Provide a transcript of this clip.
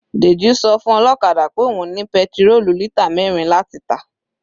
Deji sọ fún ọlọ́kadà pé òun ní petirólù lítà mẹrin láti tà.